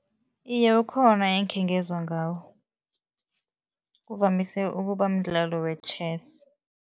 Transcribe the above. Iye, ukhona engikhe ngezwa ngawo, kuvamise ukuba mdlalo we-chess.